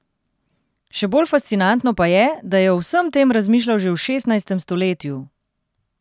Še bolj fascinantno pa je, da je o vsem tem razmišljal že v šestnajstem stoletju!